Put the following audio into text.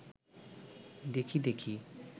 দেখি দেখি